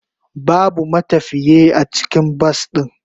Babu matafiye a cikin bas din.